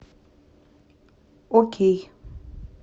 окей